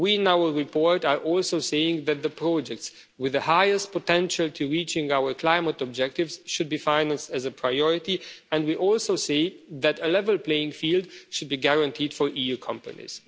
We, in our report, are also saying that the projects with the highest potential to reach our climate objectives should be financed as a priority and we also say that a level playing field should be guaranteed for EU companies.